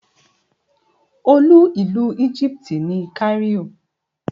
Olú ìlú Egypt ni Cairo.